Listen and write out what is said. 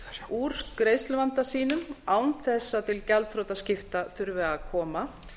úr greiðsluvanda sínum án þess að til gjaldþrotaskipta þurfi að koma